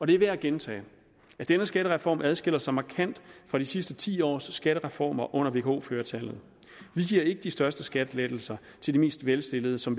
det er værd at gentage at denne skattereform adskiller sig markant fra de sidste ti års skattereformer under vko flertallet vi giver ikke de største skattelettelser til de mest velstillede som